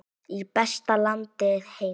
Í besta landi heims.